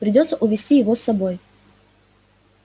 придётся увести его с собой